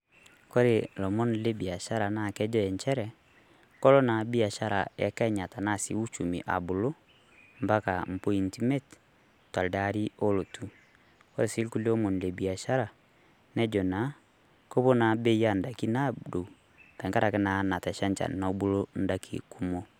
Kore ilomon lebiashara naa kejo enchere, kelo naa biashara arashu uchumii abulu ambaka imbointi imiet teldaari olotu, kore sii irkulie omon lebiashara nejo naa, kepuo naa Bei odaikin aadou tengaraki naa Natasha enchan nebulu endaikin kumok.